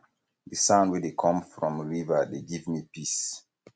di sound wey dey com from river dey give me peace